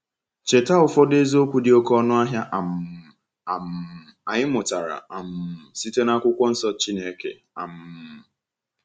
Cheta ụfọdụ eziokwu dị oké ọnụ ahịa um um anyị mụtara um site na Akwụkwọ Nsọ Chineke! um